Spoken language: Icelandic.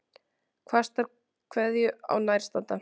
Kastar kveðju á nærstadda.